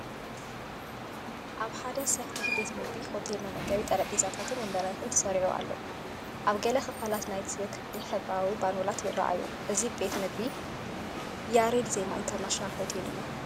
ኣብ ሓደ ሰፊሕ ቤት መግቢ ሆቴል መመገቢ ጠረጴዛታትን መንበርን ተሰሪዑ ኣሎ። ኣብ ገለ ክፋላት ናይቲ ክፍሊ ሕብራዊ ባሎናት ይረኣዩ። እዚ ቤት መግቢ ያሬድ ዘማ ኢንተርናሽናል ሆቴል እዩ።